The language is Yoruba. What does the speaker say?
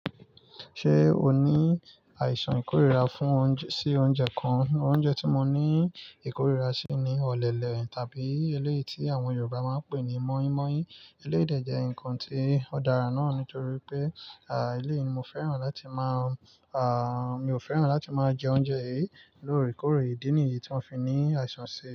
Ṣé o ní àìsàn ìkórira fún oúnj, sí oúnjẹ kan? Oúnjẹ tí mo ní ìkórira sí ni ọ̀lẹ̀lẹ̀ tàbí eléèti àwọn Yorùbá máa ń pè ní mọ́yínmọ́yín. Eléyìí dẹ̀ jẹ́ nǹkan tí ó dára náà nítorí pé, à, eléyìí ni mo fẹ́ràn láti máa, à, mi ò fẹ́ràn láti máa jẹ oúnjẹ yìí lóore kóró ìdí nìyí tí mo fi ní àìsàn síi.